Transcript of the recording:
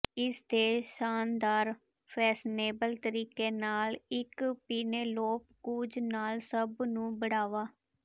ਇਸ ਦੇ ਸ਼ਾਨਦਾਰ ਫੈਸ਼ਨੇਬਲ ਤਰੀਕੇ ਨਾਲ ਅਤੇ ਪੀਨੇਲੋਪ ਕ੍ਰੂਜ਼ ਨਾਲ ਸਭ ਨੂੰ ਬੜਾਵਾ